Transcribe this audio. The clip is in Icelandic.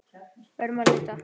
Verðum að leita.